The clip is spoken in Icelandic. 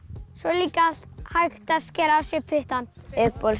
svo er líka hægt að skera á sér puttann